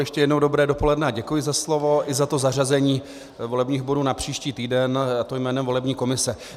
Ještě jednou dobré dopoledne a děkuji za slovo i za to zařazení volebních bodů na příští týden, a to jménem volební komise.